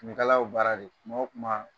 Finikala y'o baara de ye. kuma o kuma